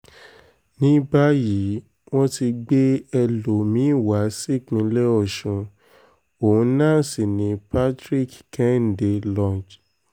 ní báyìí wọ́n ti gbé ẹlòmí-ín wá sípínlẹ̀ ọ̀ṣùn òun náà sí ní patrick kẹ́hìndé lọnge